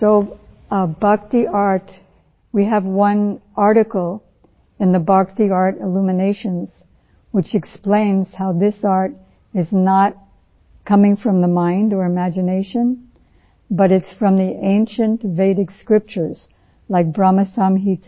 so Bhakti art we have one article in the Bhakti art illuminations which explains how this art is not coming from the mind or imagination but it is from the ancient Vedic scriptures like Brahma Samhita